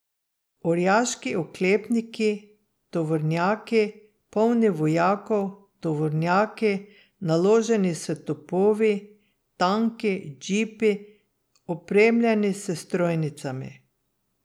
Orjaški oklepniki, tovornjaki, polni vojakov, tovornjaki, naloženi s topovi, tanki, džipi, opremljeni s strojnicami.